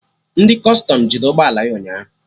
Ndị Kọstọm jide ụgbọ ala ya ụnyaahụ